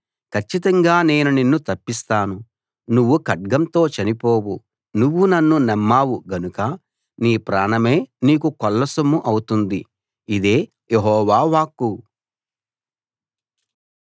కచ్చితంగా నేను నిన్ను తప్పిస్తాను నువ్వు ఖడ్గంతో చనిపోవు నువ్వు నన్ను నమ్మావు గనుక నీ ప్రాణమే నీకు కొల్లసొమ్ము అవుతుంది ఇదే యెహోవా వాక్కు